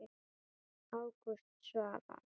Ágúst Svavar.